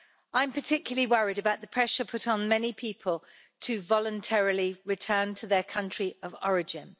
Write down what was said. I'm particularly worried about the pressure put on many people to voluntarily return to their country of origin.